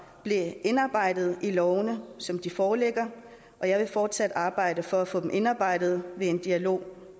indarbejdet i lovene som de foreligger og jeg vil fortsat arbejde for at få dem indarbejdet ved en dialog